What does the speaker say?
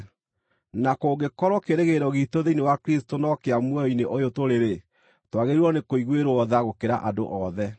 Na kũngĩkorwo kĩĩrĩgĩrĩro giitũ thĩinĩ wa Kristũ no kĩa muoyo-inĩ ũyũ tũrĩ-rĩ, twagĩrĩirwo nĩkũiguĩrwo tha gũkĩra andũ othe.